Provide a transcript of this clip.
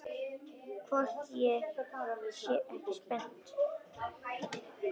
Hvort ég sé ekki spennt?